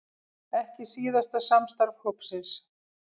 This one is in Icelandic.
Ekki síðasta samstarf hópsins